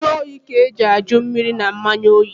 Njụoyi ka eji ajụ mmiri na mmanya oyi.